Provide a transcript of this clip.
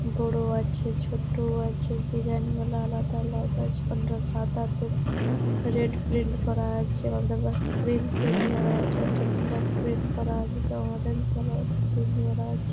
বড় আছে ছোটও আছে। ডিসাইন গুলা আলাদা আলাদা । কোনটা সাদাতে রেড প্রিন্ট করা আছে। কোনটা বা ক্রিম প্রিন্ট করা আছে। এটা ব্ল্যাক প্রিন্ট করা আছে। জামা প্যান্ট পরা প্রিন্ট করা আছে।